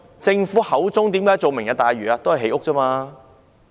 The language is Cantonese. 政府為何提出"明日大嶼"？